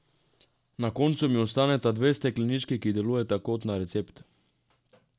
Na koncu mi ostaneta dve steklenički, ki delujeta kot na recept.